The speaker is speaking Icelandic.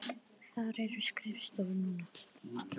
Þar eru skrifstofur núna.